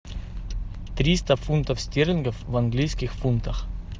триста фунтов стерлингов в английских фунтах